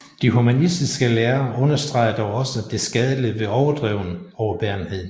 De humanistiske lærere understregede dog også det skadelige ved overdreven overbærenhed